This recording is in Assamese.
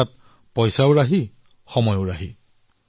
অৰ্থাৎ টকাৰো ৰাহি আৰু সময়ৰো ৰাহি